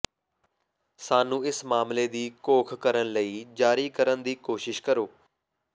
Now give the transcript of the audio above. ਸਾਨੂੰ ਇਸ ਮਾਮਲੇ ਦੀ ਘੋਖ ਕਰਨ ਲਈ ਜਾਰੀ ਕਰਨ ਦੀ ਕੋਸ਼ਿਸ਼ ਕਰੋ